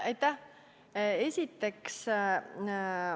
Aitäh!